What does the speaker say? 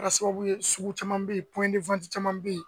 Kɛra sababu ye sugu caman bɛ ye pɔɲɛni caman bɛ yen